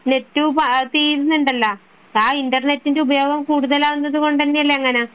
net തീരുന്നുണ്ടല്ലോ ആ ഇന്റർനെറ്റിന്റെ ഉപയോഗം കൂടുതൽ ആവുന്നത് കൊണ്ടല്ലേ അങ്ങനെ